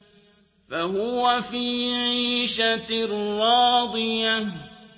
فَهُوَ فِي عِيشَةٍ رَّاضِيَةٍ